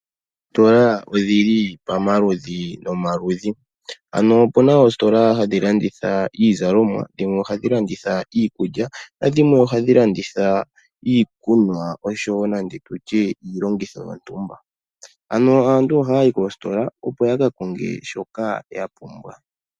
Oositola odhili pomaludhi nomaludhi . Opuna oositola hadhi landitha iizalomwa, dhimwe ohadhi landitha iikulya, nadhimwe ohadhi landitha iikunwa noshowoo nande tutye iilongitho yontumba. Aantu ohaya yi koositola yakakonge shoka yapumbwa.